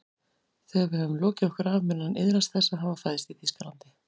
Þegar við höfum lokið okkur af mun hann iðrast þess að hafa fæðst í Þýskalandi